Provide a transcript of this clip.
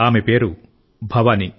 ఆమె పేరు భవాని